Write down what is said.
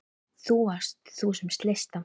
Það varst þú sem sleist það.